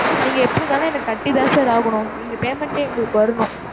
நீங்க எப்படி இருந்தாலும் எனக்குக் கட்டிதான் sir ஆகணும். எங்க payment எங்களுக்கு வரணும்.